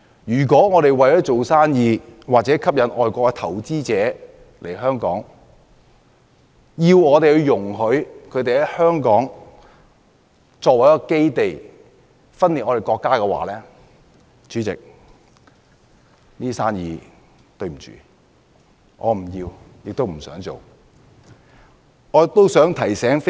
如果我們為了做生意或吸引外國投資者來港，而要容許他們以香港作為基地、分裂國家，很抱歉，我不想要這些生意。